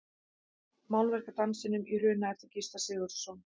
Málverk af Dansinum í Hruna eftir Gísla Sigurðsson.